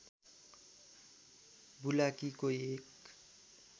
बुलाकीको एक